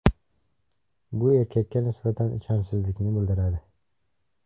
Bu erkakka nisbatan ishonchsizlikni bildiradi.